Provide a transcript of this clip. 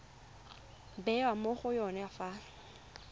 bewa mo go yone fa